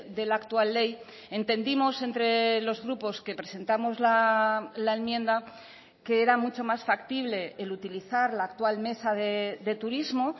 de la actual ley entendimos entre los grupos que presentamos la enmienda que era mucho más factible el utilizar la actual mesa de turismo